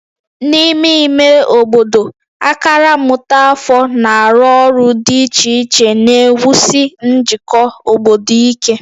N'ime ime obodo, akara mmụta afọ na-arụ ọrụ dị iche iche na-ewusi njikọ obodo ike